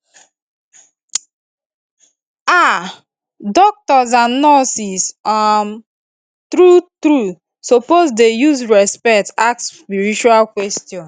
um doctors and nurses um true true suppose dey use respect ask spiritual questions